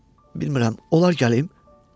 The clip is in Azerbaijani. Və bilmirəm, olar gəlim?